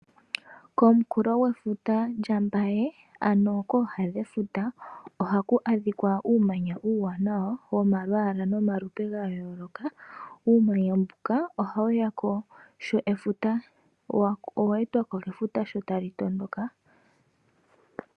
Komunkulo gwefuta lya Mbaye, ano kooha dhefuta ohaku adhika uumanya uuwanawa womalwaala nomalupe gayooloka. Uumanya mbuka oweetwako kefuta sho talitondoka.